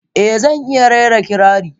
Eh, zan iya rera kirari.